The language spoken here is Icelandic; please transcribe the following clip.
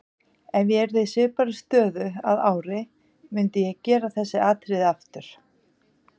Ef ég yrði í svipaðri stöðu að ári myndi ég gera þessi atriði aftur.